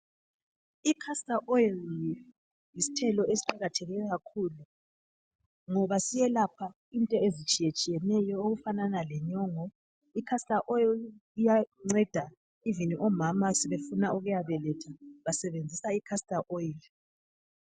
I"castor oil" yisithelo esiqakatheke kakhulu ngoba siyelapha into ezitshiyetshiyeneyo okufanana lenyongo.I"castor oil" iyanceda "even" omama sebefuna Ukuyabeletha basebenzisa i"castor oil".